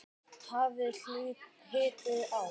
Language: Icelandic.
Hafið hýðið á.